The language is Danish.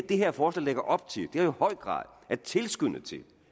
det her forslag lægger op til i høj grad at tilskynde til